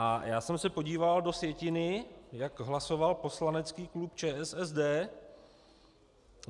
A já jsem se podíval do sjetiny, jak hlasoval poslanecký klub ČSSD.